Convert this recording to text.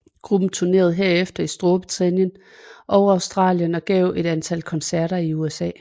Gruppen turnerede herefter i Storbritannien og Australien og gav et antal koncerter i USA